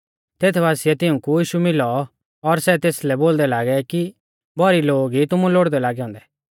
तेत बासिऐ तिउंकै यीशु मिलौ और सै तेसलै बोलदै लागै कि भौरी लोग ई तुमु लोड़दै लागै औन्दै